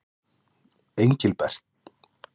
Engilbert